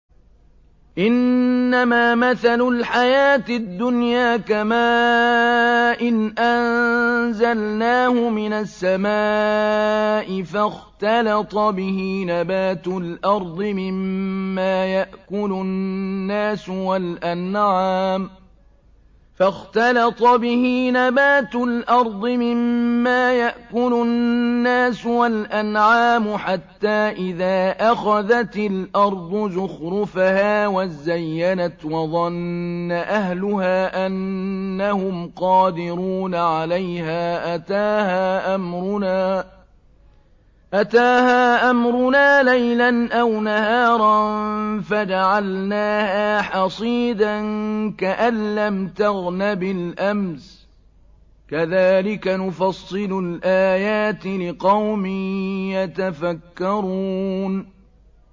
إِنَّمَا مَثَلُ الْحَيَاةِ الدُّنْيَا كَمَاءٍ أَنزَلْنَاهُ مِنَ السَّمَاءِ فَاخْتَلَطَ بِهِ نَبَاتُ الْأَرْضِ مِمَّا يَأْكُلُ النَّاسُ وَالْأَنْعَامُ حَتَّىٰ إِذَا أَخَذَتِ الْأَرْضُ زُخْرُفَهَا وَازَّيَّنَتْ وَظَنَّ أَهْلُهَا أَنَّهُمْ قَادِرُونَ عَلَيْهَا أَتَاهَا أَمْرُنَا لَيْلًا أَوْ نَهَارًا فَجَعَلْنَاهَا حَصِيدًا كَأَن لَّمْ تَغْنَ بِالْأَمْسِ ۚ كَذَٰلِكَ نُفَصِّلُ الْآيَاتِ لِقَوْمٍ يَتَفَكَّرُونَ